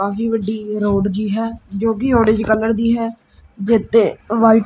ਕਾਫੀ ਵੱਡੀ ਗਰਾਊਂਡ ਜੀ ਹੈ ਜੋ ਕਿ ਔਰੇਂਜ ਕਲਰ ਦੀ ਹੈ ਜਿਹਤੇ ਵਾਈਟ --